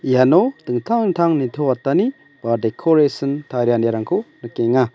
iano dingtang dingtang nitoatani ba dekorasin tarianirangko nikenga.